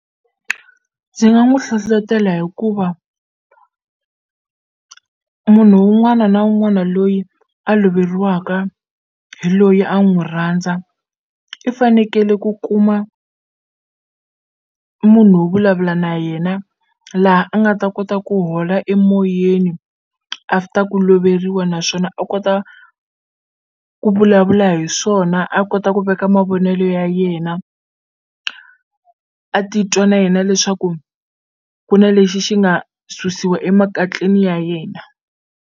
Ndzi nga n'wu hlohlotela hikuva munhu wun'wana na wun'wana loyi a loveriwaka hi loyi a n'wu rhandza i fanekele ku kuma munhu wo vulavula na yena laha a nga ta kota ku hola emoyeni after ku loveriwa naswona a kota ku vulavula hi swona a kota ku veka mavonelo ya yena a titwa na yena leswaku ku na lexi xi nga susiwa emakatleni ya yena.